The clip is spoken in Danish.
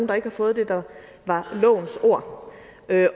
der ikke har fået det der var lovens ord